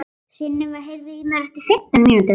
Sunniva, heyrðu í mér eftir fimmtán mínútur.